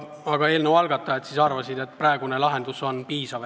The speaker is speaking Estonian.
Aga eelnõu algatajad arvasid, et praegune lahendus on piisav.